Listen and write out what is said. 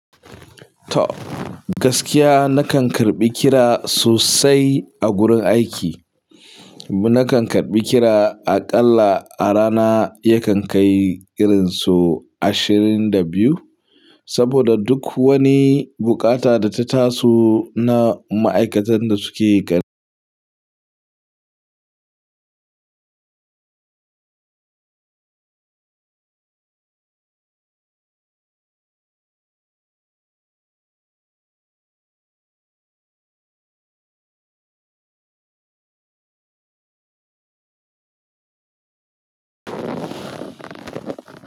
Toh, gaskiya nakan karbi kira sosai a gurin aiki. Nakan karbi kira aƙalla a rana yakan kai irin so ashirin da biyu. Saboda duk wani buƙata da ta taso na ma'aikatan da suke.